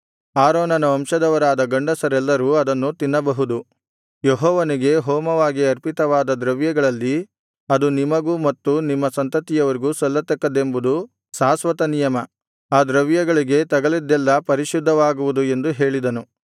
ಆರೋನನ ವಂಶದವರಾದ ಗಂಡಸರೆಲ್ಲರೂ ಅದನ್ನು ತಿನ್ನಬಹುದು ಯೆಹೋವನಿಗೆ ಹೋಮವಾಗಿ ಅರ್ಪಿತವಾದ ದ್ರವ್ಯಗಳಲ್ಲಿ ಅದು ನಿಮಗೂ ಮತ್ತು ನಿಮ್ಮ ಸಂತತಿಯವರಿಗೂ ಸಲ್ಲತಕ್ಕದ್ದೆಂಬುದು ಶಾಶ್ವತನಿಯಮ ಆ ದ್ರವ್ಯಗಳಿಗೆ ತಗಲಿದ್ದೆಲ್ಲಾ ಪರಿಶುದ್ಧವಾಗುವುದು ಎಂದು ಹೇಳಿದನು